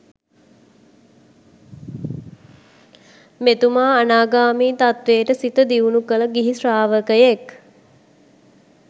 මෙතුමා අනාගාමී තත්වයට සිත දියුණු කළ ගිහි ශ්‍රාවකයෙක්.